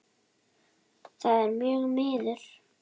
Það er mjög miður.